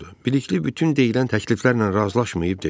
Bilikli bütün deyilən təkliflərlə razılaşmayıb dedi.